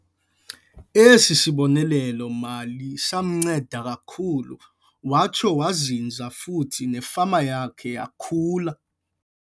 Esi sibonelelo-mali samnceda kakhulu watsho wazinza futhi nefama yakhe yakhula.